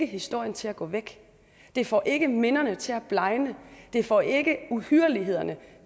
historien til at gå væk det får ikke minderne til at blegne det får ikke uhyrlighederne